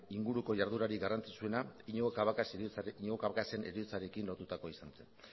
inguruko jarduerarik garrantzitsuena iñigo cabacasen heriotzarekin lotutakoa izan zen